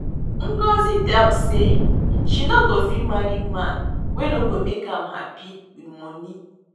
Ngọzi talk say she no go fit marry man wey no go make am happy with money